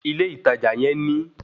Ilé ìtajà yẹn ní